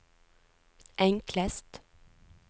enklest